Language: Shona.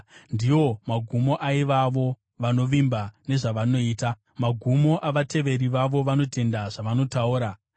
Ndiwo magumo aivavo vanovimba nezvavanoita, namagumo avateveri vavo, vanotenda zvavanotaura. Sera